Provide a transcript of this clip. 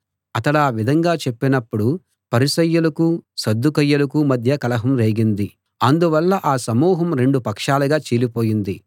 అతడా విధంగా చెప్పినప్పుడు పరిసయ్యులకు సద్దూకయ్యులకు మధ్య కలహం రేగింది అందువల్ల ఆ సమూహం రెండు పక్షాలుగా చీలిపోయింది